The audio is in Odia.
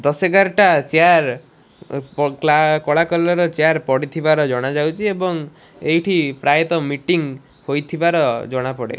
ଦଶ ଏଗାର ଟା ଚେୟାର ଉଁ ଆଁ କ୍ଲା କଳା କଲର୍ ର ଚେୟାର ପଡିଥିବାର ଜଣା ଯାଉଚି ଏବଂ ଏଇଠି ପ୍ରାୟତଃ ମିଟିଂ ହୋଇଥିବାର ଜଣା ପଡେ।